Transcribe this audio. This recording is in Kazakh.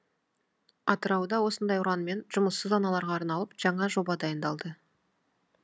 атырауда осындай ұранмен жұмыссыз аналарға арналып жаңа жоба дайындалды